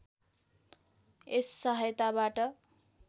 यस सहायताबाट